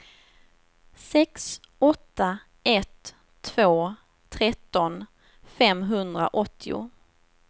sex åtta ett två tretton femhundraåttio